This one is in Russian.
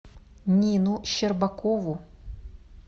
нину щербакову